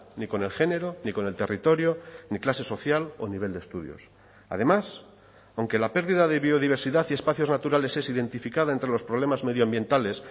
ni con el género ni con el territorio ni clase social o nivel de estudios además aunque la pérdida de biodiversidad y espacios naturales es identificada entre los problemas medioambientales